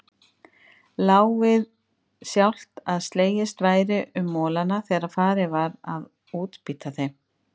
Lá við sjálft að slegist væri um molana þegar farið var að útbýta þeim.